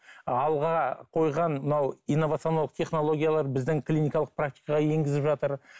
алға қойған мынау инновациялық технологиялар біздің клиникалық практикаға енгізіп жатыр